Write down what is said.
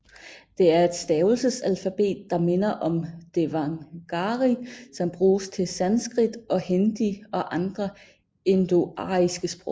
Det er et stavelsesalfabet der minder om devanagari som bruges til sanskrit og hindi og andre indoariske sprog